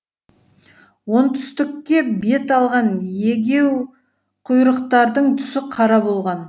оңтүстікке бет алған егеуқұйрықтардың түсі қара болған